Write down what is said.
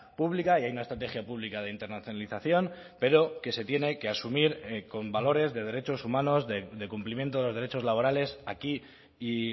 pública y hay una estrategia pública de internacionalización pero que se tiene que asumir con valores de derechos humanos de cumplimiento de los derechos laborales aquí y